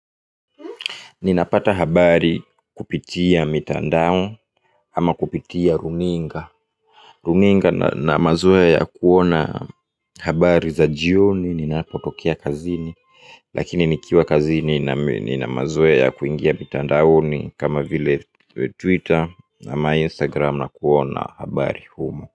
Ninapata habari kupitia mitandao ama kupitia runinga runinga na mazoe ya kuona habari za jioni ninapotokea kazini. Lakini nikiwa kazini nina mazoea ya kuingia mitandaoni kama vile Twitter ama Instagram na kuona habari humo.